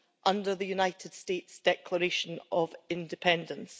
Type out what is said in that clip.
under the United States Declaration of Independence.